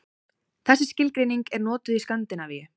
Þessi skilgreining er notuð í Skandinavíu.